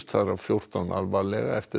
þar af fjórtán alvarlega eftir